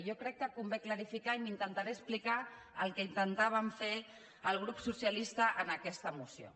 jo crec que convé aclarir ho i intentaré explicar el que intentàvem fer el grup socialista en aquesta moció